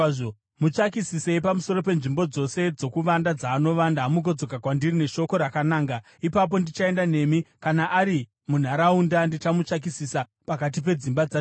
Mutsvakisisei pamusoro penzvimbo dzose dzokuvanda dzaanovanda mugodzoka kwandiri neshoko rakananga. Ipapo ndichaenda nemi; kana ari munharaunda, ndichamutsvakisisa pakati pedzimba dzaJudha.”